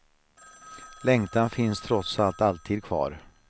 Längtan finns trots allt alltid kvar.